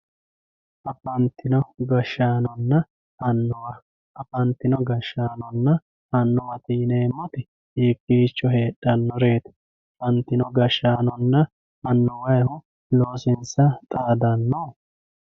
afantino gashshaanonna annuwa afantino gashshaanonna annuwate yineemoti hiikiicho heexxannoreeti afantino gashshaanonna annuwayiihu loosiinsa xaadanno.